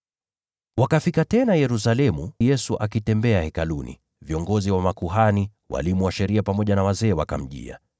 Wakafika tena Yerusalemu, na Yesu alipokuwa akitembea Hekaluni, viongozi wa makuhani, walimu wa sheria pamoja na wazee wa watu wakamjia.